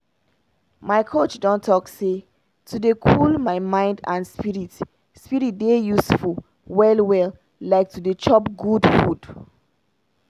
my coach don talk say to dey cool my mind and spirit spirit dey useful well well like to dey chop good food.